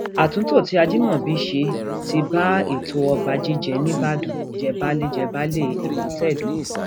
àtúntò tí ajimobi ṣe ti bá ètò ọba jíjẹ nìbàdàn jẹbàálé jẹbàálé èkótẹdó